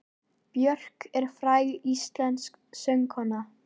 Björk er fræg íslensk söngkona.